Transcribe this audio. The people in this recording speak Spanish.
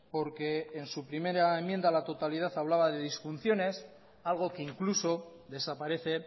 porque en su primera enmienda a la totalidad hablaba de disfunciones algo que incluso desaparece